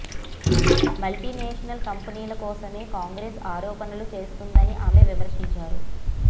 మల్టిస national ఖంపెనీల కోసమే కాంగ్రెస్ ఆరోపణలు చేస్తోందని ఆమె విమర్శించారు